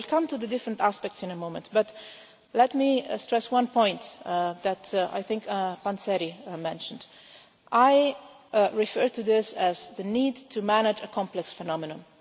I will come to the different aspects in a moment, but let me stress one point that I think Mr Panzeri mentioned. I refer to this as the need to manage a complex phenomenon.